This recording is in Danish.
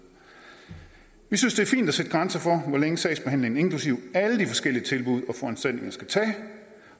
vi synes det er fint at sætte grænser for hvor længe sagsbehandlingen inklusive alle de forskellige tilbud